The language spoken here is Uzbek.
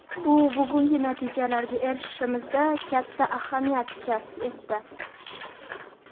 Bu bugungi natijalarga erishishimizda katta ahamiyat kasb etdi.